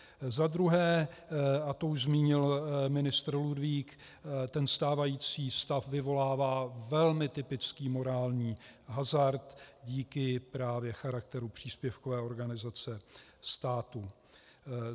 Za druhé, a to už zmínil ministr Ludvík, ten stávající stav vyvolává velmi typický morální hazard díky právě charakteru příspěvkové organizace státu.